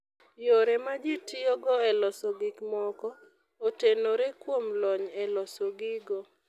Yore ma ji tiyogo e loso gik moko, otenore kuom lony e loso gigo.